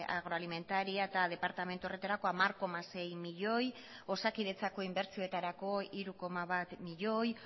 agroalimentaria eta departamentu horretarako hamar koma sei milioi osakidetzako inbertsioetarako hiru koma bat milioi